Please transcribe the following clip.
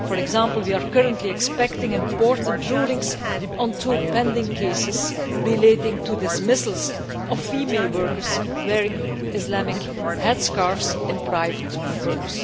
For example, we are currently expecting important rulings on two pending cases relating to dismissals of female workers wearing Islamic headscarves in private firms.